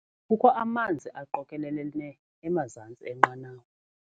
Kukho amanzi aqokelelene emazantsi enqanawa.